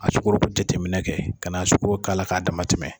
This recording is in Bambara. A sugɔro jateminɛ kɛ ka na sugɔro k'a la k'a damatɛ